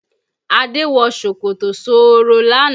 Adé wọ ṣòkòtò sọ́ọ́rọ́ lánàá